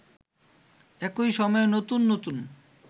একই সময়ে নতুন নতুন